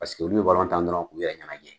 olu be tan dɔrɔn k'u yɛrɛ ɲanajɛ.